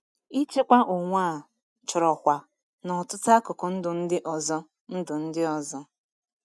Ịchịkwa onwe a chọrọ kwa n’ọtụtụ akụkụ ndụ ndị ọzọ. ndụ ndị ọzọ.